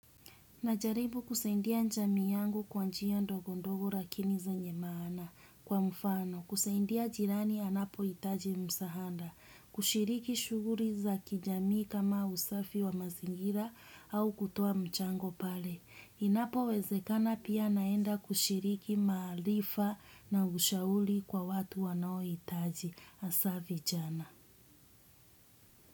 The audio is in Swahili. Najaribu kusaidia jamii yangu kwa njia ndogondogo lakini zenye maana kwa mfano. Kusaidia jirani anapohitaji msaada. Kushiriki shughuli za kijamii kama usafi wa mazingira au kutoa mchango pale. Inapo wezekana pia naenda kushiriki maarifa na ushauri kwa watu wanaohitaji hasa vijana.